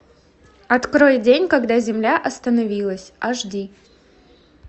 открой день когда земля остановилась аш ди